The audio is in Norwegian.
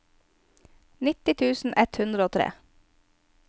nitti tusen ett hundre og tre